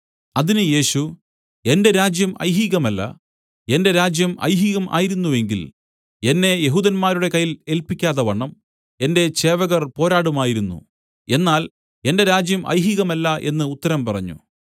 അതിന് യേശു എന്റെ രാജ്യം ഐഹികമല്ല എന്റെ രാജ്യം ഐഹികം ആയിരുന്നു എങ്കിൽ എന്നെ യെഹൂദന്മാരുടെ കയ്യിൽ ഏല്പിക്കാതവണ്ണം എന്റെ ചേവകർ പോരാടുമായിരുന്നു എന്നാൽ എന്റെ രാജ്യം ഐഹികമല്ല എന്നു ഉത്തരം പറഞ്ഞു